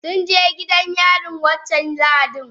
Sunje gidan yarin wancan lahadin.